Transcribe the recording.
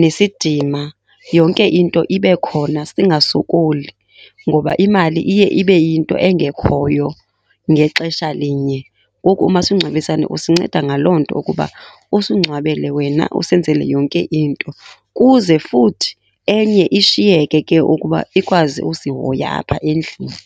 nesidima, yonke into ibe khona singasokoli, ngoba imali iye ibe yinto engekhoyo ngexesha linye. Ngoku umasingcwabisane usinceda ngaloo nto ukuba usingcwabele wena, usenzele yonke into kuze futhi enye ishiyeke ke ukuba ikwazi usihoya apha endlini.